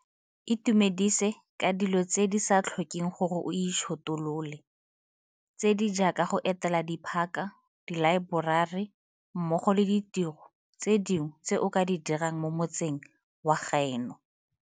Itumedise ka dilo tse di sa tlhokeng gore o itšhotolole, tse di jaaka go etela diphaka, dilaeborari mmogo le ditiro tse dingwe tse o ka di dirang mo motseng wa gaeno.